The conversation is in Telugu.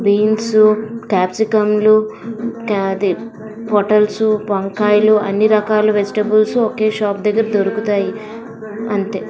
బీన్సు క్యాప్సికములు అదే పోటల్స్ వంకాయలు అన్ని రకాల వెజిటేబుల్స్ ఒకే షాప్ దగ్గర దొరుకుతాయి. అంతే--